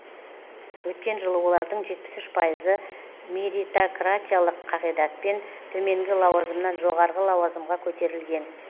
өткен жылы олардың жетпіс үш пайызы меритократиялық қағидатпен төменгі лауазымнан жоғарғы лауазымға көтерілген